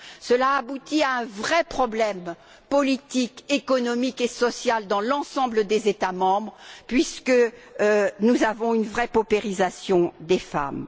Cela aboutit à un vrai problème politique, économique et social dans l'ensemble des États membres, puisque nous avons une vraie paupérisation des femmes.